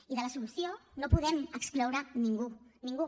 i de la solució no en podem excloure ningú ningú